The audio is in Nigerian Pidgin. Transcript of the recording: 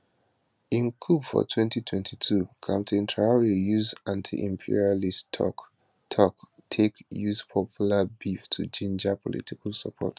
im coup for 2022 captain traor use antiimperialist toktok take use popular beef to ginger political support